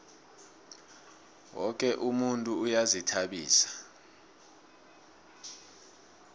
woke umuntu uyazihtabisa